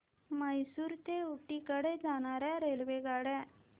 म्हैसूर ते ऊटी कडे जाणार्या रेल्वेगाड्या